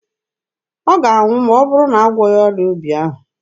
Ọ ga-anwụ ma ọ bụrụ a gwọghị ọrịa obi ahụ.